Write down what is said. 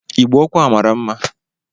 Igbe ọkụ a mara mma